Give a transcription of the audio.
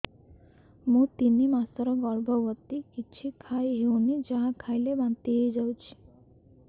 ମୁଁ ତିନି ମାସର ଗର୍ଭବତୀ କିଛି ଖାଇ ହେଉନି ଯାହା ଖାଇଲେ ବାନ୍ତି ହୋଇଯାଉଛି